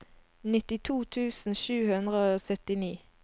nittito tusen sju hundre og syttini